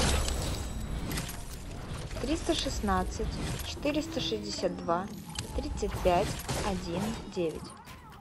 триста шестнадцать четыреста шестьдесят два тридцать пять один девять